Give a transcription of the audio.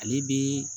Ale bi